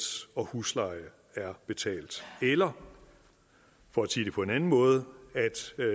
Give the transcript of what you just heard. og husleje er betalt eller for at sige det på en anden måde